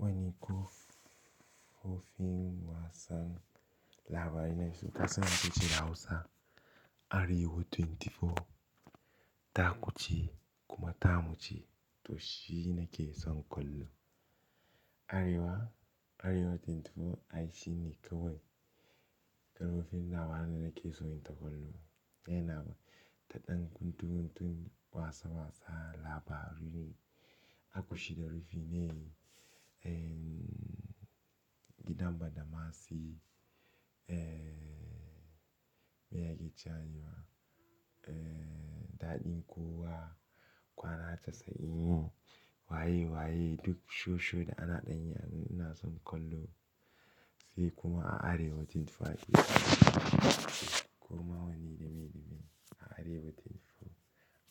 Wani ko rufin wasan labari na Hausa Arewa 24, taku ce kuma tamu ce to shi ne ke son kallo. Arewa 24 ai shi ne kawai rufin labarai na ke son ta kallo. Yana da ɗan guntu guntun wasa wasa, labari, akushi da rufinai, gidan badamasi, miyagi jayewa, daɗin kowa, kwana casa'in yi, waye waye, duk sho shon da ana ɗan yi anan inason kallo sai kuma a Arewa 24 ake samu. Koma wane dame dame a Arewa 24